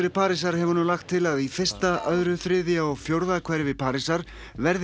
Parísar hefur nú lagt til að í fyrsta öðru þriðja og fjórða hverfi Parísar verði